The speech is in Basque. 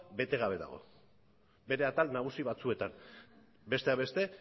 bete gabe dago bere atal nagusi batzuetan besteak beste